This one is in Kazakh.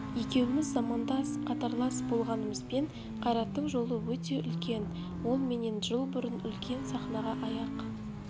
екеуіміз замандас қатарлас болғанымызбен қайраттың жолы өте үлкен ол менен жыл бұрын үлкен сахнаға аяқ